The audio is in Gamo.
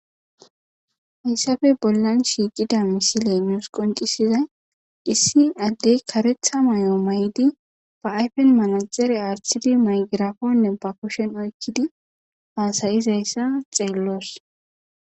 hayssafe bollan shiiqida misile muus qoncisizay issin addey karetha may7o may7di ba ayfen manaxere artidi maygiraponne ba kushen oykkidi haasayizayssa xeelloos